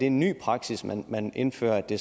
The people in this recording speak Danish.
en ny praksis man man indfører at det